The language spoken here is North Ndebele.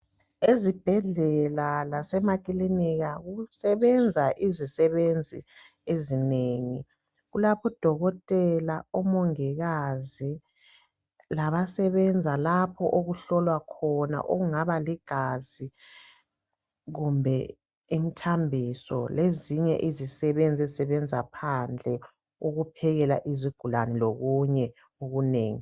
Ezibhedlela lasemakilinika kusebenza izisebenzi ezinengi. Kulabo dokotela, omongikazi labasebenza lapho abahlolwa khona okungaba ligazi kumbe imthambiso lezinye izisebenzi ezisebenza phandle ukuphekela izigulane lokunye okunengi.